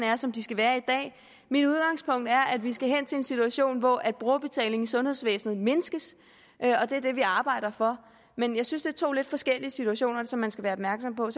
er som de skal være mit udgangspunkt er at vi skal hen til en situation hvor brugerbetaling i sundhedsvæsenet mindskes og det er det vi arbejder for men jeg synes er to lidt forskellige situationer som man skal være opmærksom på